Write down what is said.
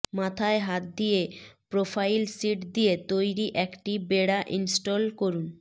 মাথায় হাত দিয়ে প্রোফাইল শীট দিয়ে তৈরি একটি বেড়া ইনস্টল করুন